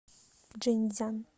чжэньцзян